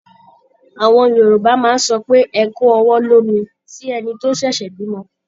Àwọn Yorùbá máa sọ pé "ẹ kú ọwọ́ lómi" sí ẹni tó ṣẹ̀ṣẹ̀ bímọ.